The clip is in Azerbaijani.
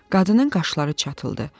Qadının qaşları çatıldı.